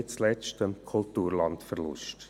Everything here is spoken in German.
Nicht zuletzt käme es zu einem Kulturlandverlust.